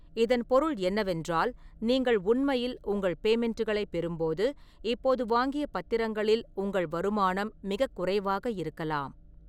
இதன் பொருள் என்னவென்றால், நீங்கள் உண்மையில் உங்கள் பேமெண்ட்டுகளைப் பெறும்போது இப்போது வாங்கிய பத்திரங்களில் உங்கள் வருமானம் மிகக் குறைவாக இருக்கலாம்.